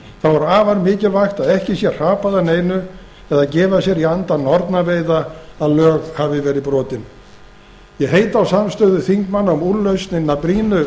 þá er afar mikilvægt að ekki sé hrapað að neinu eða gefa sér í anda nornaveiða að lög hafi verið brotin ég heiti á samstöðu þingmanna um úrlausn hinna brýnu